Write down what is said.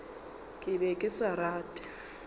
ke be ke sa rate